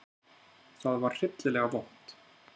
Það var hryllilega vont.